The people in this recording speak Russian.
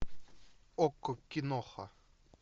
окко киноха